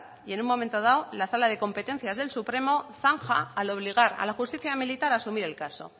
y en un momento dado la sala de competencias del supremo zanja al obligar a la justicia militar a asumir el caso